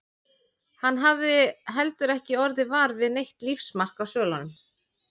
Hann hafði heldur ekki orðið var við neitt lífsmark á svölunum.